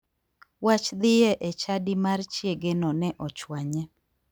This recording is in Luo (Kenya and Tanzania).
Wach dhie e chadi mar chiegeno ne ochwanye.